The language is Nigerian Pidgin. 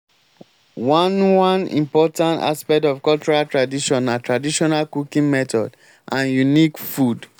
one one important aspect of cultural tradition na traditional cooking method and unique food